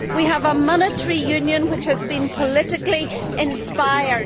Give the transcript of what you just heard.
We have a monetary union that has been politically inspired.